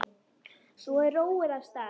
Svo er róið af stað.